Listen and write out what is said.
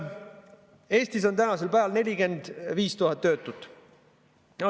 Eestis on tänasel päeval 45 000 töötut.